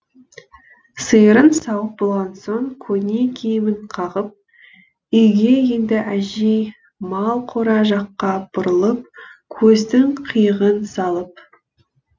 сиырын сауып болған соң көне киімін қағып үйге енді әжей мал қора жаққа бұрылып көздің қиығын салып